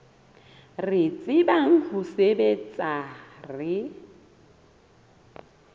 re tsebang ho sebetsa re